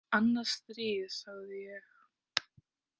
Annað stríð, sagði ég.